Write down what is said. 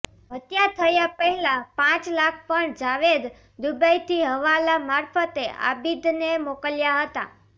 હત્યા થતાં પહેલા પાંચ લાખ પણ જાવેદ દુબઈથી હવાલા મારફતે આબીદને મોકલ્યા હતા